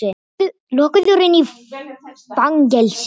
Lokaður inni í fangelsi!